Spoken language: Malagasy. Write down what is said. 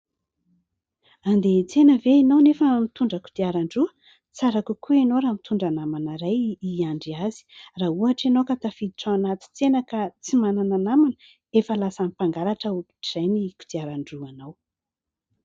Andeha iantsena ve ianao nefa mitondra kodiaran-droa ? Tsara kokoa ianao raha mitondra namana iray iandry azy. Raha ohatra ianao ka tafiditra ao anaty tsena ka tsy manana namana, efa lasan'ny mpangalatra ohatr'izay ny kodirandroanao.